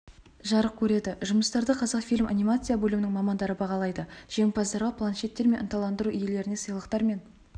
жарық көреді жұмыстарды қазақфильм анимация бөлімінің мамандары бағалайды жеңімпаздарға планшеттер мен ынталандыру иелеріне сыйлықтар мен